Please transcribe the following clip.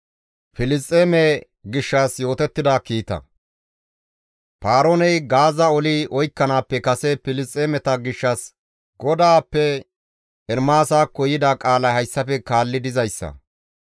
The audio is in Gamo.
Paarooney Gaaza oli oykkanaappe kase Filisxeemeta gishshas GODAAPPE Ermaasakko yida qaalay hayssafe kaalli dizayssa.